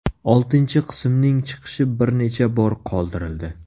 Oltinchi qismning chiqishi bir necha bor qoldirildi.